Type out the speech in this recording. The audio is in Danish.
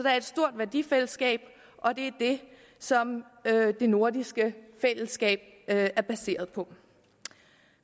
er et stort værdifællesskab og det er det som det nordiske fællesskab er baseret på